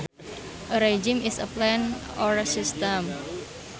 A regime is a plan or system